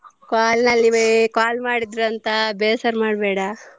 Call ನಲ್ಲಿಯೇ call ಮಾಡಿದ್ರು ಅಂತ ಬೇಸರ ಮಾಡ್ಬೇಡ.